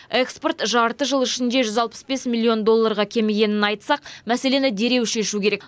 экспорт жарты жыл ішінде жүз алпыс бес миллион долларға кемігенін айтсақ мәселені дереу шешу керек